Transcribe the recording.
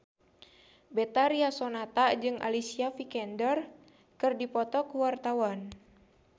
Betharia Sonata jeung Alicia Vikander keur dipoto ku wartawan